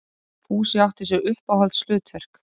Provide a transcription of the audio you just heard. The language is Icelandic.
Fúsi átti sér uppáhaldshlutverk.